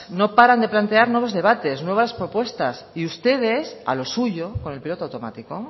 no paran de plantear nuevo debates nuevas propuestas y ustedes a lo suyo con el piloto automático